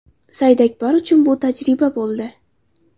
Saidakbar uchun bu tajriba bo‘ldi.